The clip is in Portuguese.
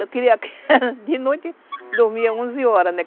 Eu queria que de noite eu dormia onze horas, né?